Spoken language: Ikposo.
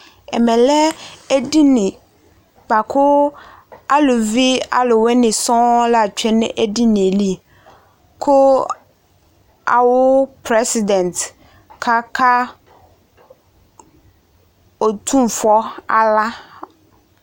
Uvi di ta kɔ tsɩtsɩ kɔka kɔsʋ ɛsɛ; edigbo ewu ɛlʋ kɔta bɩ ayɔ aɣla yɔ ma nɛkplɔ ava kɔka kɔsʋƐdɩ bɩ ayɔ ɛna yɔ wa nalɔ kɔka kɔsʋ ɛnɛAsɩ ɛfʋa dɩ bɩ ya nʋ atamɩduƐmɛ lɛ edini bʋa kʋ aluvi aʋ wɩnɩ sɔŋ la tsue nʋ edinie liKʋ awʋ prezidɛnt ɔka ka Otunfo aɣla